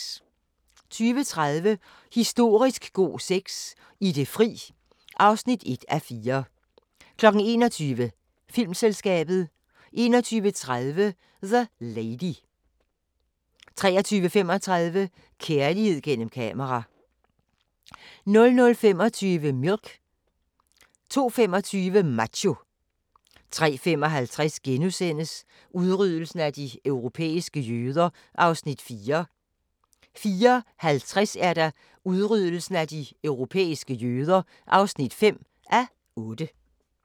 20:30: Historisk god sex – I det fri (1:4) 21:00: Filmselskabet 21:30: The Lady 23:35: Kærlighed gennem kamera 00:25: Milk 02:25: Macho 03:55: Udryddelsen af de europæiske jøder (4:8)* 04:50: Udryddelsen af de europæiske jøder (5:8)